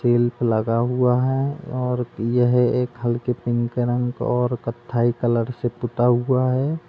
Shelf लगा हुआ है और यह एक हलके पिंक रंग और कथ्थई कलर से पुता हुआ है।